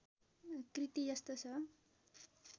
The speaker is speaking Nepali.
कृति यस्तो छ